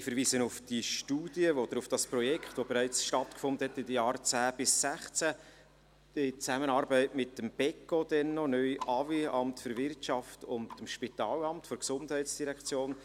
Ich verweise auf die Studie oder auf das Projekt, das bereits in den Jahren 2010–2016 in Zusammenarbeit mit dem Beco – damals noch, neu AWI – und mit dem Spitalamt der GEF stattgefunden hat.